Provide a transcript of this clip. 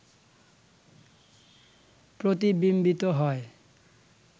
প্রতিবিম্বিত হয়